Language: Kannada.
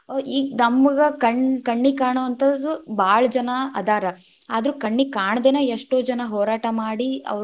ಈಗ್‌ ನಮ್ಗ್ ಕಣ್‌~ ಕಣ್ಣಿಗ್‌ ಕಾಣುವಂಥದು ಭಾಳ ಜನಾ ಅದಾರ, ಆದ್ರೂ ಕಣ್ಣೀಗ್‌ ಕಾಣದೆನೆ ಎಷ್ಟೋ ಜನಾ ಹೋರಾಟ ಮಾಡಿ.